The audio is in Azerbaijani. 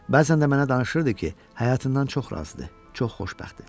Bəzən də mənə danışırdı ki, həyatından çox razıdır, çox xoşbəxtdir.